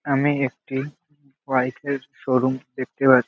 আমি একটি বাইক এর শোরুম দেখতে পাচ্ছি।